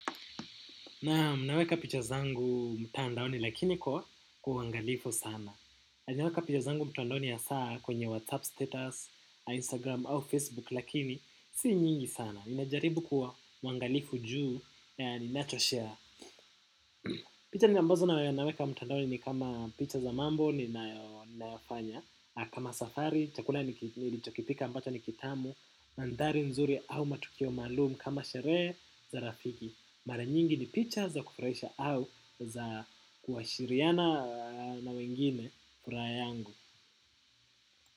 Naam naweka picha zangu mtandaoni lakini kwa kwa uangalifu sana. Na naweka picha zangu mtandaoni ya saa kwenye WhatsApp status, Instagram au Facebook lakini sii nyingi sana. Ninajaribu kwa mwangalifu juu na ninachoshare. Picha ambazo na naweka mtandaoni ni kama picha za mambo ninayofanya. Kama safari, chakula nilichokipika ambacho ni kitamu, mandari nzuri au matukio malum kama sheree za rafiki. Mara nyingi ni picha za kufuraisha au za kuashiriana na wengine furaha yangu.